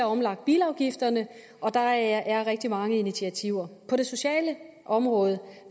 omlagt bilafgifterne og der er rigtig mange initiativer på det sociale område